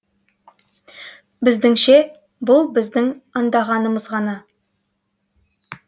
біздіңше бұл біздің аңдағанымыз ғана